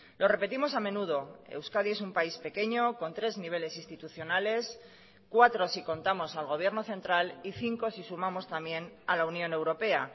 lo repetimos a menudo euskadi es un país pequeño con tres niveles institucionales cuatro si contamos al gobierno central y cinco si sumamos también a la unión europea